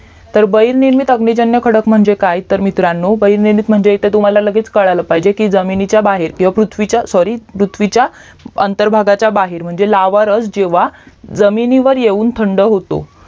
तर बाहिर निर्मित अग्निजन्य खडक म्हणजे काय बाहिर निर्मित म्हणजे इथे तुम्हाला लगेच कळलं पाहिजे की जमिनीच्या बाहेर पृथ्वीच्या sorry पृथ्वीच्या अंतर्भागाच्या बाहेर म्हणजे लावरस जेव्हा जमिनीवर येऊन थंड होतो